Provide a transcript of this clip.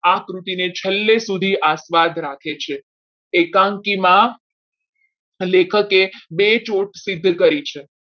આ કૃતિને છેલ્લે સુધી આ સ્વાદ રાખે છે એકાંકીમાં લેખકે બેચોટ સિદ્ધ કરી છે.